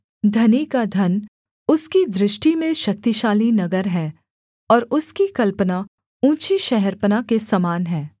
धनी का धन उसकी दृष्टि में शक्तिशाली नगर है और उसकी कल्पना ऊँची शहरपनाह के समान है